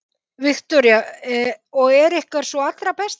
Viktoría: Og er ykkar sú allra besta?